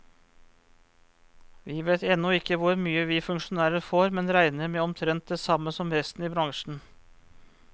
Vi vet ennå ikke hvor mye vi funksjonærer får, men regner med omtrent det samme som resten i bransjen.